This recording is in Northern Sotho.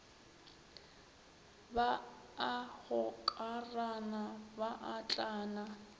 ba a gokarana ba atlana